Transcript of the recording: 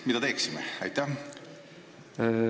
Mida me peaksime tegema?